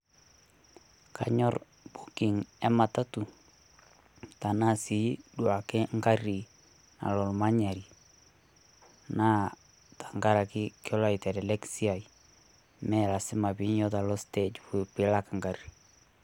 kanyorr booking e matatu tenaa si duake ngarri nalo olmanyari naa tenkaraki kelo aitelelek siai mee lasima piinyuototo alo stage piilak ngarri.